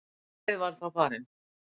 Hvaða leið var þá farin?